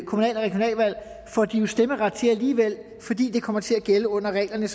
kommunal og regionalvalg får de jo stemmeret til alligevel fordi det kommer til at gælde under reglerne